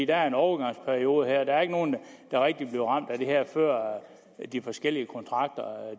er en overgangsperiode der er ikke nogen der rigtig bliver ramt af det her før de forskellige kontrakter